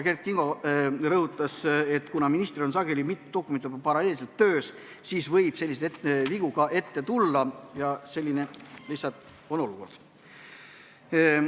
Kert Kingo rõhutas, et kuna ministril on sageli mitu dokumenti paralleelselt töös, siis võib selliseid vigu ette tulla, selline lihtsalt on olukord.